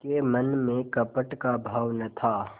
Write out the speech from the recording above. के मन में कपट का भाव न था